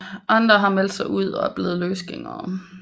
Andre har meldt sig ud og er blevet løsgængere